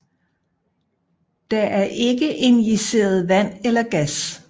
Der er ikke injiceret vand eller gas